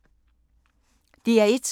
DR1